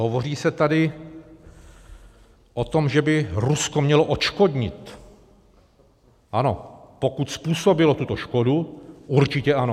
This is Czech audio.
Hovoří se tady o tom, že by Rusko mělo odškodnit - ano, pokud způsobilo tuto škodu, určitě ano.